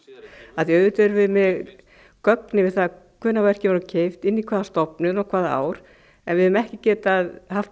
af því að auðvitað erum við með gögn yfir það hvenær verkin voru keypt inn í hvaða stofnun og hvaða ár en við höfum ekki getað haft